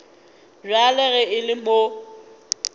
bjale ge e le mo